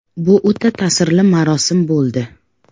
Bu o‘ta ta’sirli marosim bo‘ldi.